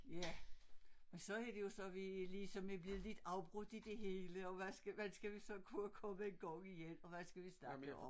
Ja og så er det jo så vi ligesom er blevet lidt afbrudt i det hele og hvad hvordan skal vi så komme i gang igen og hvad skal vi snakke om